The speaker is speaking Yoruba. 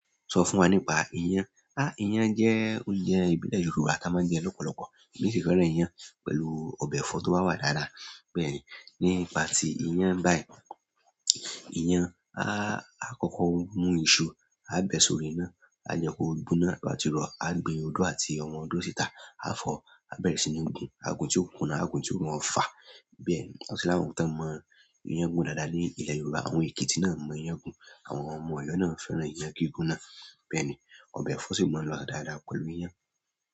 Sọ fún wa nípa iyán. Há ìyàn jẹ́ oúnjẹ ìbílẹ̀ Yorùbá tí a máa ń jẹ lọ́pọ̀lọpọ̀. Èmi sì fẹ́ràn iyán pẹ̀lú ọbẹ̀ ẹ̀fọ́ tó bá wá dáadáa. Bẹ́ẹ̀ ni, nípa ti iyán báyìí, iyán, a á kọ́kọ́ mú iṣu, a bẹ̀ sórí iná, a jẹ kó gbóná náà, tí o bá ti rọ̀, a gbe odó àti ọmọ odó síta, a fọ̀, á bẹ̀rẹ̀ sí ní gun. A gun tí ó kún náà, a gun tí ó mọ fa. Bẹ́ẹ̀ ni, a sì lá wọn tán mọ iyán gun dáadáa ní ilẹ̀ Yorùbá. Àwọn Èkìtì náà mọ iyán gun, àwọn ọmọ Ọ̀yọ́ náà fẹ́ràn iyán gígún náà. Bẹ́ẹ̀ ni, ọbẹ̀ ẹ̀fọ́ sì máa ń lọ̀ dáadáa pẹ̀lú iyán.